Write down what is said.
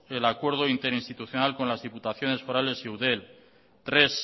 el acuerdo interinstitucional con las diputaciones forales y eudel tres